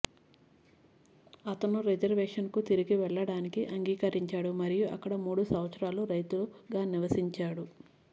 అతను రిజర్వేషన్కు తిరిగి వెళ్ళడానికి అంగీకరించాడు మరియు అక్కడ మూడు సంవత్సరాలు రైతుగా నివసించాడు